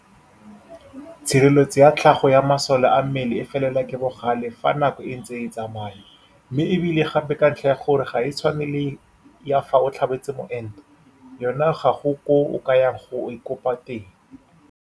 Tshireletso ya tlhago ya masole a mmele e felelwa ke bogale fa nako e ntse e tsamaya, mme e bile gape ka ntlha ya gore ga e tshwane le ya fa o tlhabetse moento, yona ga go koo o ka yang go e kopa teng.